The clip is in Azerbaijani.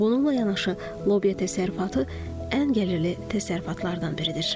Bununla yanaşı lobya təsərrüfatı ən gəlirli təsərrüfatlardan biridir.